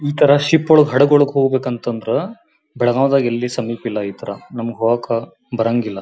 ಇತರ ಶಿಪ್ ಒಳಗಡೆ ಹಡಗೊಳಗಡೆ ಹೋಗಬೇಕಂತ ಅಂದ್ರೆ ಬೆಳಗಾಂದಲ್ಲಿಎಲ್ಲಿ ಸಮೀಪ ಇಲ್ಲಾ ಇತರ ನಮ್ಮಗ್ ಹೋಗಕ್ ಬರಂಗಿಲ್ಲಾ.